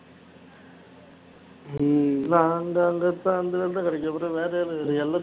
உம் நாங்க அங்க அந்த வேலை தான் கிடைக்கும் வேற என்ன கிடைக்கும்